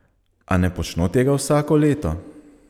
A ne počno tega vsako leto?